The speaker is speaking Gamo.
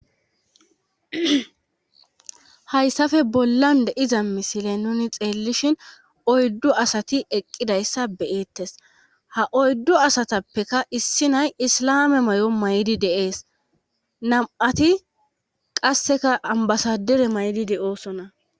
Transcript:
Hayssafe bollan deiza misile nuni xeellishin oyddu asati eqqidayssa beyeettes ha oyddu asatappeka issi nay islame may7o maydi deees nam7ati qasseka ambasadire maydi de oosona.